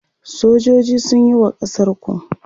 Sojoji sunyi wa ƙasar ku.